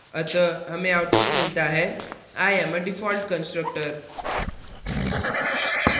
अतः हमें output मिलता है i am a default constructor